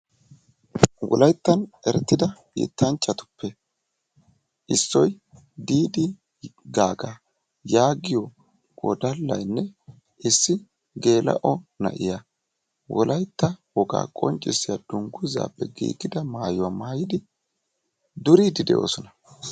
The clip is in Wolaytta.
Wolayttan erettidda yettanchchatuppe issoy Diddi Gaagga yaagiyo wodallaynne issi geela"o nai'yaa wolytta woggaa qonccisiyaa dunguzzappe giigidda maayuwaa mayiddi duriddi doossona.